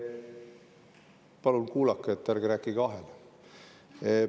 Palun kuulake, ärge rääkige vahele!